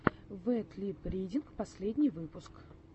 вэд лип ридинг последний выпуск